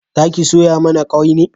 Zaki soya mana kwai ne?